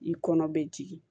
I kɔnɔ bɛ jigin